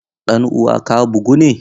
Dan uwa ka bugu ne?